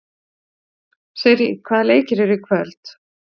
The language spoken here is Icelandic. Sirrý, hvaða leikir eru í kvöld?